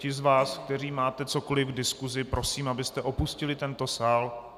Ti z vás, kteří máte cokoliv k diskusi, prosím, abyste opustili tento sál.